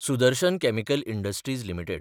Sudarshan chemical industries limited